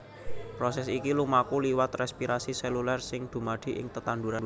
Prosès iki lumaku liwat rèspirasi sélulèr sing dumadi ing tetanduran